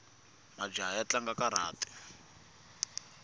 majaha ya tlanga karati